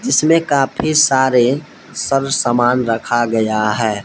इसमें कफी सारे सब सामान रखा गया है।